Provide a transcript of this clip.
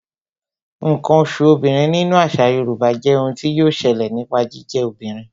Ǹkan oṣù obìnrin nínú àṣà Yorùbá jé ohun tí yọ ṣẹlẹ̀ nípa jíjẹ́ obìnrin